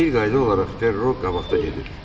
Bir qayda olaraq Perro qabaqda gedir.